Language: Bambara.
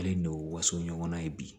Ale n'o waso ɲɔgɔnna ye bi